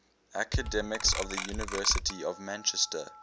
academics of the university of manchester